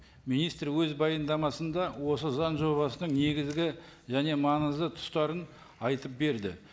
министр өз баяндамасында осы заң жобасының негізгі және маңызды тұстарын айтып берді